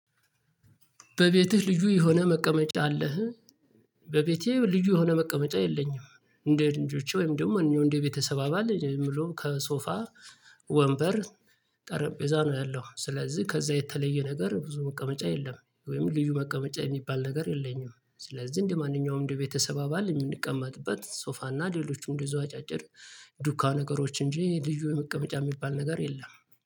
በቤትህ ልዩ የሆነ መቀመጫ አለህ? በቤቴ ልዩ የሆነ መቀመጫ የለኝም። እንደ ልጆቼ ወይም ደግሞ እንደ ቤተሰብ አባል የምለው ከሶፋ ወንበር ጠረጴዛ ነው ያለው። ስለዚህ ከዛ የተለየ ነገር ብዙ መቀመጫ የለም ወይም ልዩ መቀመጫ የሚባል ነገር የለኝም። ስለዚህ እንደማንኛውም እንደ ቤተሰብ አባል የምንቀመጥበት ሶፋና ሌሎችም እንደዚሁ አጫጭር ዱካ ነገሮች እንጂ ልዩ የመቀመጫ የሚባል ነገር የለም።